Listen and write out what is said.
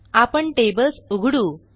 आपण टेबल्स उघडू